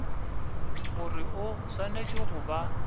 gore o swanetše go ba